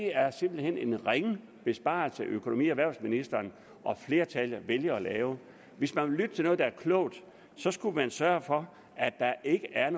er simpelt hen en ringe besparelse økonomi og erhvervsministeren og flertallet vælger at lave hvis man vil lytte til noget der er klogt skulle man sørge for at der ikke er